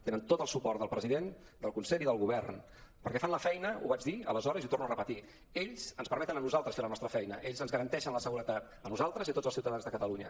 tenen tot el suport del president del consell i del govern perquè fan la feina ho vaig dir aleshores i ho torno a repetir ells ens permeten a nosaltres fer la nostra feina ells ens garanteixen la seguretat a nosaltres i a tots els ciutadans de catalunya